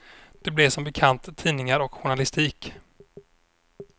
Det blev som bekant tidningar och journalistik.